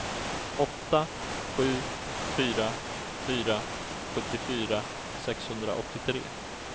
åtta sju fyra fyra sjuttiofyra sexhundraåttiotre